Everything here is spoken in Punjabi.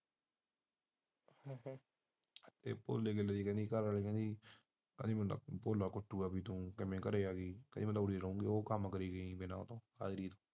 ਤੇ ਕਹਿੰਦੀ ਭੋਲਾ ਕੁੱਟੀਗਾ ਜੇ ਮੈਂ ਘਰੇ ਆ ਗਈ ਉਹ ਕੰਮ ਕਰੂੰਗਾ